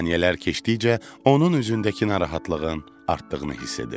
Saniyələr keçdikcə onun üzündəki narahatlığın artdığını hiss edirdim.